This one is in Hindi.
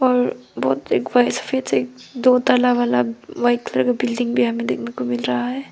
और दो ताला वाला व्हाइट कलर का बिल्डिंग भी यहां पे देखने को मिल रहा है।